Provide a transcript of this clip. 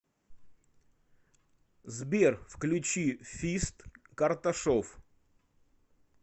сбер включи фист карташов